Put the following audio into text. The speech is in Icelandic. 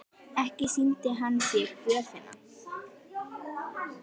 Ekki sýndi hann þér gjöfina?